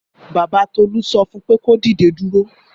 Bàbá Tolú sọ fún pé kò dìde dúró.